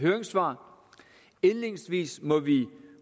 høringssvar indledningsvis må vi